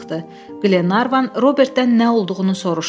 Qlenarvan Robertdən nə olduğunu soruşdu.